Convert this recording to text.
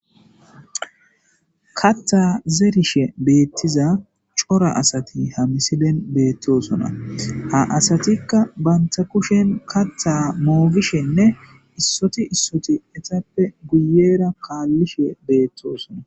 Katta zerishe beettiza cora asati hamisiben beettosona a asatikka banta kushen katta moogishenne issoti issoti etappe guyera kaallishe beettoosona.